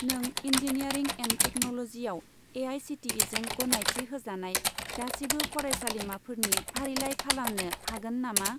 नों engineering and टेक्न'ल'जिआव ए.आइ.सि.टि.इ.जों गनायथि होजानाय गासिबो फरायसालिमाफोरनि फारिलाइ खालामनो हागोन नामा?